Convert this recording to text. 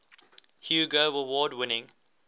hugo award winning